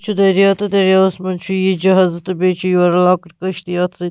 چُھ دٔریاو تہٕ دٔریاوس منٛز چُھ یہِ جہاز تہٕ بیٚیہِ چُھ یورٕ لۄکٕٹ کٔشتی یتھ سۭتۍ